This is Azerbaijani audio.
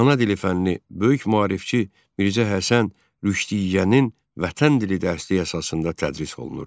Ana dili fənni böyük maarifçi Mirzə Həsən Rüşdiyyənin vətən dili dərsliyi əsasında tədris olunurdu.